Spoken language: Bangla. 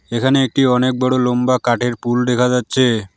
এখানে একটি অনেক বড়ো লোম্বা কাঠের পুল দেখা যাচ্ছে।